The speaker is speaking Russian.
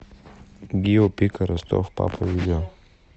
гио пика ростов папа видео